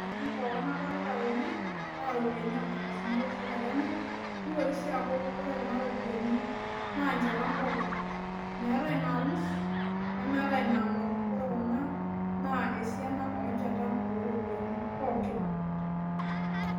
Ore ntokitin pokin nadolita tene naa iropiyiani onkardasini olosho lenya , nitoki sii aaku nchatan pookin meetae inalus , nemeetae inaangor , ore kuna naa esiana onchatan oropiyiani pokin .